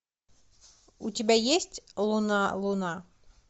у тебя есть луна луна